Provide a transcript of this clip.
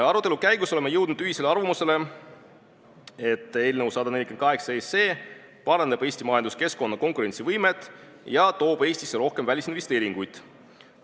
Arutelu käigus oleme jõudnud ühisele arvamusele, et eelnõu 148 parandab Eesti majanduskeskkonna konkurentsivõimet ja toob Eestisse rohkem välisinvesteeringuid.